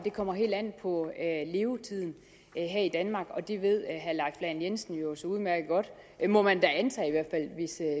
det kommer helt an på levetiden her i danmark og det ved herre leif lahn jensen jo så udmærket godt må man da antage